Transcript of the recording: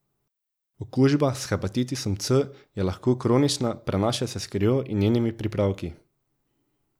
Okužba s hepatitisom C je lahko kronična, prenaša se s krvjo in njenimi pripravki.